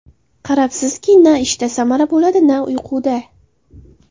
Qarabsizki, na ishda samara bo‘ladi, na uyquda.